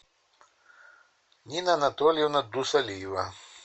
нина анатольевна дусалиева